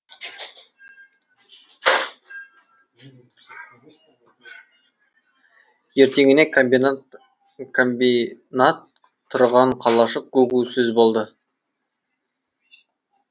ертеңіне комбинат тұрған қалашық гу гу сөз болды